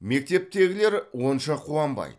мектептегілер онша қуанбайды